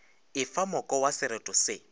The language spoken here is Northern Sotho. efa moko wa sereto se